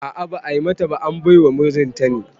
A'a ba'a bata ba, an baiwa mijinta ne